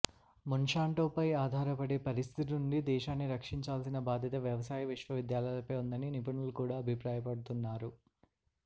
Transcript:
మోన్శాంటోపై ఆధారపడే పరిస్థితి నుండి దేశాన్ని రక్షించాల్సిన బాధ్యత వ్యవసాయ విశ్వవిద్యాలయాలపై ఉందని నిపుణులు కూడా అభిప్రాయపడుతున్నారు